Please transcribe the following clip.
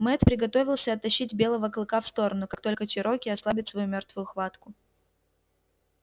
мэтт приготовился оттащить белого клыка в сторону как только чероки ослабит свою мёртвую хватку